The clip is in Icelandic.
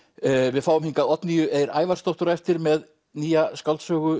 við fáum hingað Oddnýju Eir Ævarsdóttur á eftir með nýja skáldsögu